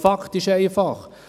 Fakt ist einfach: